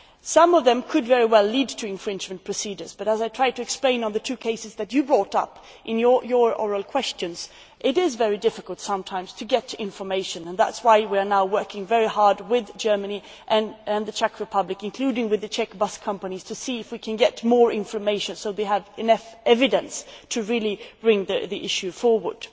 Some of them could very well lead to infringement proceedings but, as I tried to explain on the two cases that you brought up in your oral questions, it is sometimes very difficult to get information and that is why we are now working very hard with Germany and the Czech Republic, including with the Czech bus companies, to see if we can get more information, so they have enough evidence to really bring the issue forward.